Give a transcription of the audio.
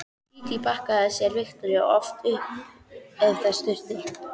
Dídí bakkaði sem sé Viktoríu oft upp ef þess þurfti.